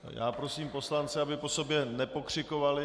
Já prosím poslance, aby po sobě nepokřikovali.